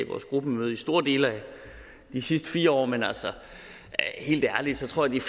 vores gruppemøder i store dele af de sidste fire år men helt ærligt tror jeg